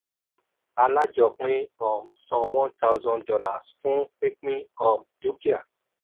alájọpín um san one thousand dollars fún pínpín um dúkìá.